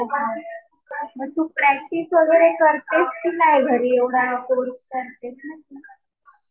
हो का. मग तू प्रॅक्टिस वगैरे करतेस कि नाही घरी? एवढा कोर्स करतीये तर.